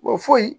Wa foyi